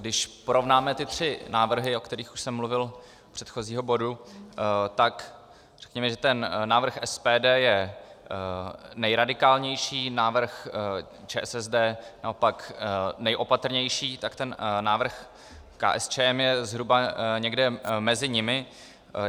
Když porovnáme ty tři návrhy, o kterých už jsem mluvil u předchozího bodu, tak řekněme, že ten návrh SPD je nejradikálnější, návrh ČSSD naopak nejopatrnější, tak ten návrh KSČM je zhruba někde mezi nimi.